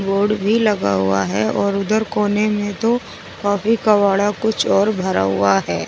Board भी लगा हुआ है और उधर कोने में तो कॉपी कबाड़ा कुछ और भरा हुआ है।